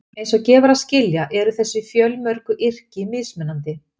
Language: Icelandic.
Eins og gefur að skilja eru þessi fjölmörgu yrki mismunandi.